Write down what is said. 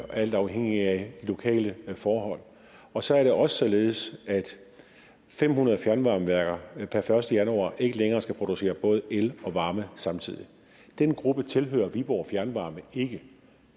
alt afhængig af lokale forhold og så er det også således at fem hundrede fjernvarmeværker per første januar ikke længere skal producere både og el og varme samtidig den gruppe tilhører viborg fjernvarme ikke